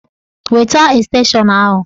Weta estenshọn ahụ!